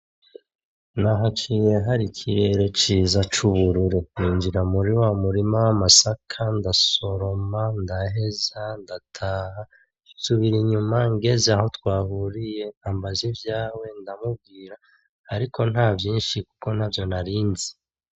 Nahaciye hari ikirere ciza c'ubururu, ninjira muti wa murima w'amasaka ndasoroma, ndaheza, ndataha, nsubira inyuma ngeze aho twahuriye ambaza ivyawe ndamubwira, ariko ntavyinshi kuko ntavyo narinzi.